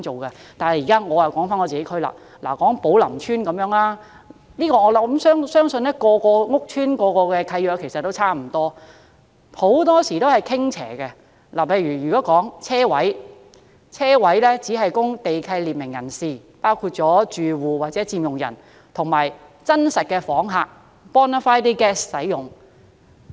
說回我所屬地區，以寶林邨為例，我相信每個屋邨的契約也差不多，很多時也是傾斜的，例如泊車位只供地契列明人士，包括住戶、佔用人及真實訪客使用。